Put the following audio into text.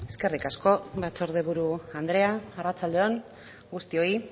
eskerrik asko batzordeburu andrea arratsalde on guztioi